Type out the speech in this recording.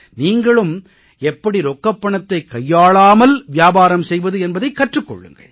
நீங்களும் எப்படி ரொக்கப் பணத்தைக் கையாளாமல் வியாபாரம் செய்வது என்பதைக் கற்றுக் கொள்ளுங்கள்